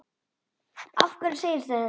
Af hverju segirðu þetta, pabbi?